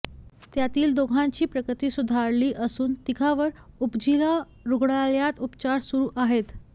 त्यातील दोघांची प्रकृती सुधारली असून तिघांवर उपजिल्हा रुग्णालयात उपचार सुरू आहेत